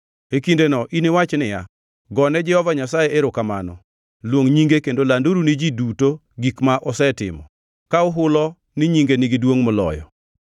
E kindeno iniwach niya, “Gone Jehova Nyasaye erokamano, luong nyinge kendo landuru ni ji duto gik ma osetimo, ka uhulo ni nyinge nigi duongʼ moloyo.